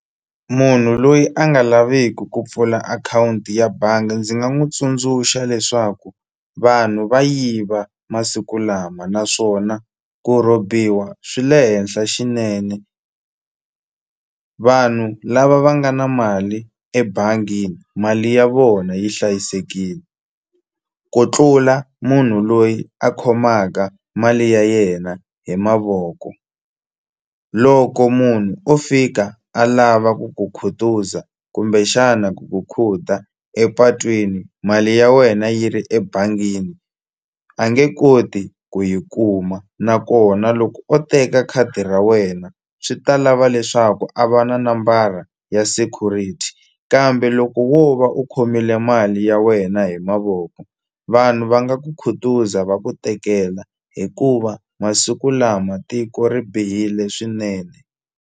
Munhu loyi a nga laviku ku pfula akhawunti ya banga ndzi nga n'wu tsundzuxa leswaku vanhu va yiva masiku lama naswona ku rhobiwa swi le henhla xinene vanhu lava va nga na mali ebangini mali ya vona yi hlayisekile ku tlula munhu loyi a khomaka mali ya yena hi mavoko loko munhu o fika a lava ku ku khutuza kumbexana ku ku khuda epatwini mali ya wena yi ri ebangini a nge koti ku yi kuma nakona loko o teka khadi ra wena swi ta lava leswaku a va na nambara ya security kambe loko wo va u khomile mali ya wena hi mavoko vanhu va nga ku khutuza va ku tekela hikuva masiku lama tiko ri bihile swinene.